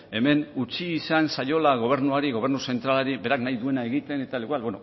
hemen utzi izan zaiola gobernuari gobernu zentralari berak nahi duena egiten eta igual